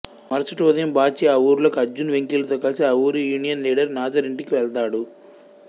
మరుసటి ఉదయం బాచీ ఆ ఊరిలోకి అర్జున్ వెంకీలతో కలిసి ఆ ఊరి యూనియన్ లీడర్ నాజర్ ఇంటికి వెళ్తడు